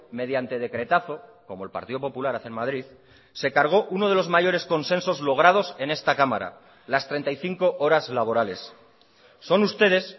mediante decretazo como el partido popular hace en madrid se cargó uno de los mayores consensos logrados en esta cámara las treinta y cinco horas laborales son ustedes